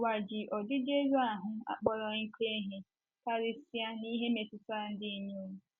Ụwa ji ọdịdị elu ahụ́ akpọrọ oké ihe, karịsịa n’ihe metụtara ndị inyom.